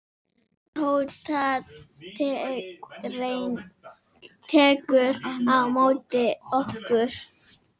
Tóta tekur á móti okkur.